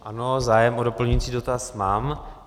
Ano, zájem o doplňující dotaz mám.